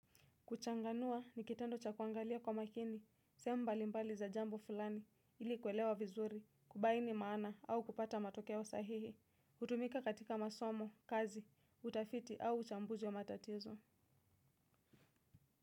Kuchanganua ni kitendo cha kuangalia kwa makini, semu mbali mbali za jambo fulani, ili kwelewa vizuri, kubaini maana au kupata matokewa sahihi, utumika katika masomo, kazi, utafiti au chambuzi wa matatizo.